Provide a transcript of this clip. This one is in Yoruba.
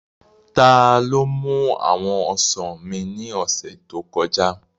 Taló mú àwọn ọsàn mi ní ọ̀sẹ̀ tó kọjá?